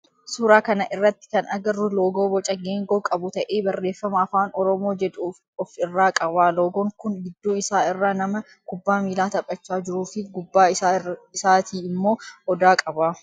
Suuraa kana irratti kan agarru loogoo boca geengoo qabu ta'ee barreeffama afaan oromoo jedhu of irraa qaba. Loogoon kun gidduu isaa irraa nama kubbaa miilaa taphachaa jiru fi gubbaa isaatii immoo odaa qaba.